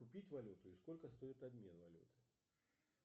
купить валюту и сколько стоит обмен валюты